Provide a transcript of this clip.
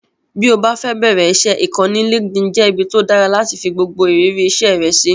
Bí o bá fẹ́ bẹ̀ẹ̀rẹ̀ iṣẹ́, ìkànnì LinkedIn jẹ́ ibi tó dára láti fi gbogbo ìrírí iṣẹ́ rẹ sí